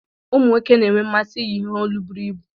Ụmụ nwoke na-enwe mmasị iyi ihe olu buru ibu.